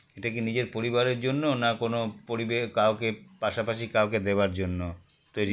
এটা কি নিজের পরিবারের জন্য না কোন পরিবে কাউকে পাশাপাশি কাউকে দেওয়ার জন্য তৈরী